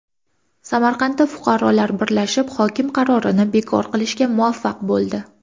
Samarqandda fuqarolar birlashib hokim qarorini bekor qilishga muvaffaq bo‘ldi.